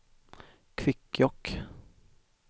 Kvikkjokk